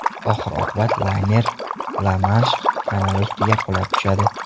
Oxir-oqibat, layner La-Mansh kanali ustiga qulab tushadi.